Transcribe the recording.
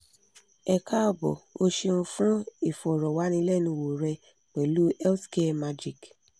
e kaabo o ṣeun fun ifọrọwanilẹnuwo rẹ pẹlu health care magic